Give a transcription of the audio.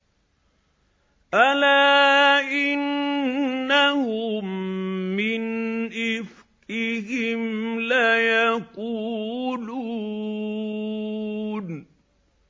أَلَا إِنَّهُم مِّنْ إِفْكِهِمْ لَيَقُولُونَ